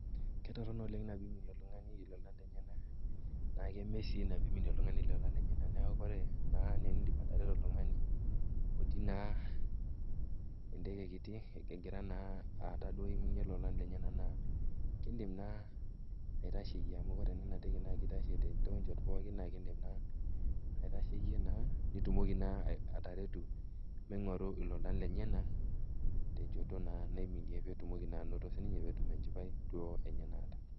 Ketoronok oleng enaa pee eiminie oltung'ani ilolan lenyenak, naa keeme sii tenaa peyie eiminie oltung'ani ilolan lenyenak niaku oore enaa eniidim atareto naa oltung'ani otii naa enteke kiiti, egira naa iaku duo eiminie ilolan lenyenak naa kin'dim naa aitasheyie amuu oore naa ina teke naa keitashe naa tochot pooki amuu oore naa iina teeke naa keidim aitasho tonchot pooki naa iidim naa aitasheyie naa nitumoki naa ataretu meing'oru ilolan lenyenak tenchoto naa naiminie peetumoki naa anoto sininye peetum enchipai duo eenye naata.